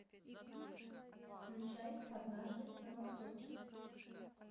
включай однажды на востоке